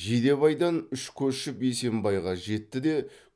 жидебайдан үш көшіп есембайға жетті де